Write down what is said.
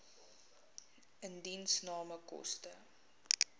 indiensname koste